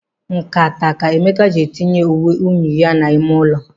Nkata a ka Emeka ji etinye uwe unyi ya n'ime ụlọ.